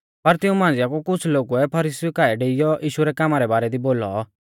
पर तिऊं मांझ़िआ कु कुछ़ लोगुऐ फरीसीउ काऐ डेइयौ यीशु रै कामा रै बारै दी बोलौ